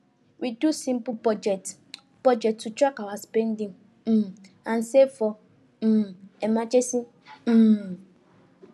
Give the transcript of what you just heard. we do simple budget budget to track our spending um and save for um emergency um